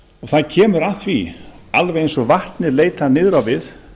það kemur að því alveg eins og vatnið leitar niður á við